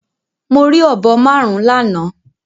Mo rí ọ̀bọ márùn-ún lánàá.